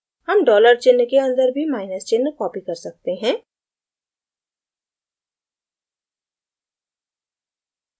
हम dollar चिन्ह के अन्दर भी माइनस चिन्ह copy कर सकते हैं